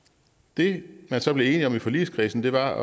det man så blev enig om i forligskredsen var at